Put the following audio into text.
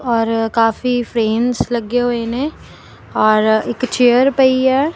ਔਰ ਕਾਫੀ ਫ੍ਰੇਮਸ ਲੱਗੇ ਹੋਏ ਨੇਂ ਔਰ ਇੱਕ ਚੇਅਰ ਪਈ ਹੈ।